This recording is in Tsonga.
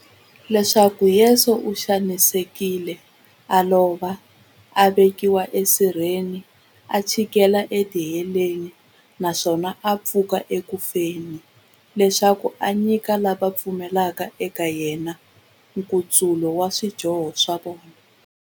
Leswaku Yesu u xanisekile, a lova, a vekiwa esirheni, a chikela etiheleni, naswona a pfuka eku feni, leswaku a nyika lava va pfumelaka eka yena, nkutsulo wa swidyoho swa vona.